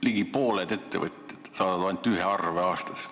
Ligi pooled ettevõtted saadavad ainult ühe arve aastas.